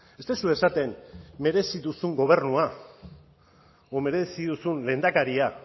ez duzue esaten merezi duzun gobernua o merezi duzun lehendakaria